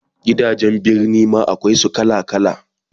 Gidajen Birni ma akwai su kala kala